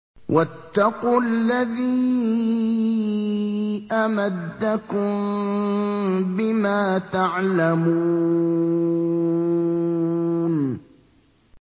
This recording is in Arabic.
وَاتَّقُوا الَّذِي أَمَدَّكُم بِمَا تَعْلَمُونَ